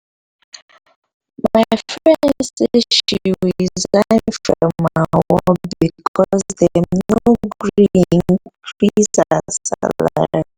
my friend say she resign from her work because dem no gree increase her salary